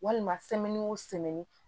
Walima o